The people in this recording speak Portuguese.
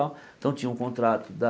então tinha o contrato da